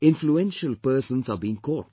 Influential persons are being caught